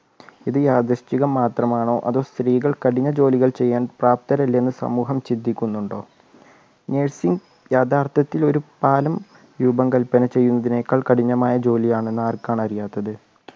ഇത് യാതൃശ്ചികം മാത്രമാണോ അതോ സ്ത്രീകൾ കഠിന ജോലികൾ ചെയ്യാൻ പ്രാപ്തരെല്ലെന്ന് സമൂഹം ചിന്തിക്കുന്നുണ്ടോ nursing യഥാർത്ഥത്തിൽ ഒരു പാലം രൂപം കൽപ്പന ചെയ്യുന്നതിനേക്കാൾ കഠിനമായ ജോലിയാണെന്ന് ആർക്കാണ് അറിയാത്തത്